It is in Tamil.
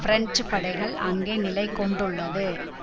பிரெஞ்சு படைகள் அங்கே நிலை கொண்டுள்ளது